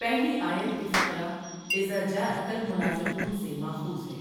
پہلی آیت کے فقرہ اذا جآءک المنٰفقون سے ماخوذ ہے۔